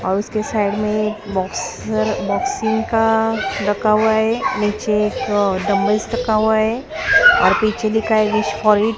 और उसके साइड में एक बॉक्सर बॉक्सिंग का रखा हुआ है नीचे तो डंबल रखा हुआ है और पीछे लिखा है --